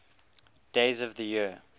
days of the year